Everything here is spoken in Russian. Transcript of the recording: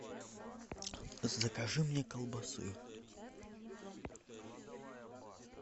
закажи мне колбасы